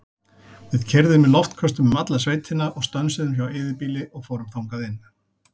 Við keyrðum í loftköstum um alla sveitina og stönsuðum hjá eyðibýli og fórum þangað inn.